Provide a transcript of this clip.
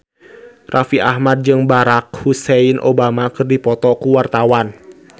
Raffi Ahmad jeung Barack Hussein Obama keur dipoto ku wartawan